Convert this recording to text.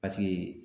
Paseke